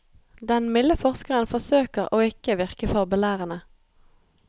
Den milde forskeren forsøker å ikke virke for belærende.